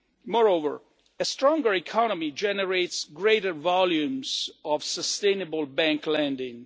Moreover, a stronger economy generates greater volumes of sustainable bank lending.